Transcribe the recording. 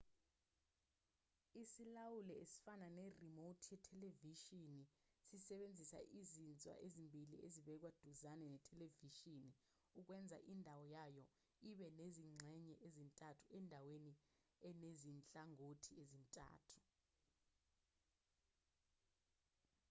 isilawuli esifana ne-remote yethelevishini sisebenzisa izinzwa ezimbili ezibekwe duzane nethelevishini ukwenza indawo yayo ibe nezingxenye ezintathu endaweni enezinhlangothi ezintathu